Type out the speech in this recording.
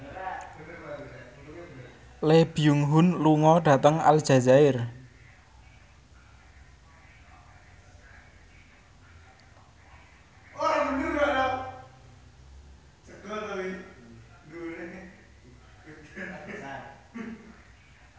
Lee Byung Hun lunga dhateng Aljazair